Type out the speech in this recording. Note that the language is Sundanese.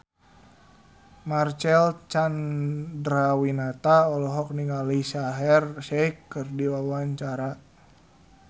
Marcel Chandrawinata olohok ningali Shaheer Sheikh keur diwawancara